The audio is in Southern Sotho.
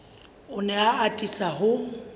o ne a atisa ho